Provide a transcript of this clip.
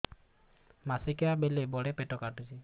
ମାସିକିଆ ବେଳେ ବଡେ ପେଟ କାଟୁଚି